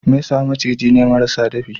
Mesa maciji ne marasa dafi.